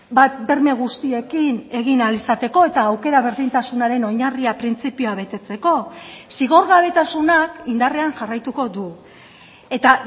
bat berme guztiekin egin ahal izateko eta aukera berdintasunaren oinarria printzipioa betetzeko zigorgabetasunak indarrean jarraituko du eta